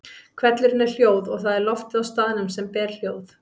Hvellurinn er hljóð og það er loftið á staðnum sem ber hljóð.